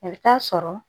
I bɛ taa sɔrɔ